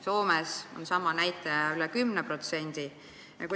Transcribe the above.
Soomes on sama näitaja üle 10%.